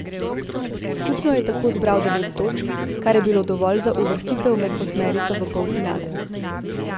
Skupno je tako zbral devet točk, kar je bilo dovolj za uvrstitev med osmerico v polfinale.